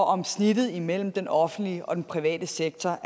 om snittet imellem den offentlige og den private sektor